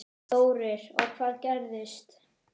Þórir: Og hvað gerist?